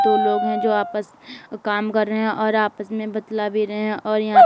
दो लोग हैं जो वापस काम कर रहे हैं और आपस में बतला भी रहे हैं और यहां--